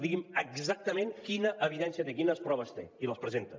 digui’m exactament quina evidència té quines proves té i les presenta